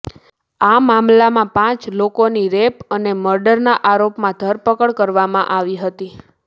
આ મામલામાં પાંચ લોકોની રેપ અને મર્ડરના આરોપમાં ધરપકડ કરવામાં આવી હતી